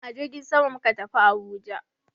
A jirgin sama muka tafi Abuja.